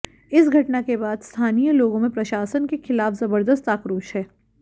इस घटना के बाद स्थानीय लोगों में प्रशासन के खिलाफ जबर्दस्त आक्रोश है